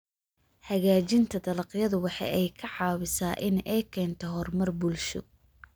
Hagaajinta dalagyadu waxa ay ka caawisaa in ay keento horumar bulsho.